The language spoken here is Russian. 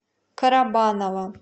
карабаново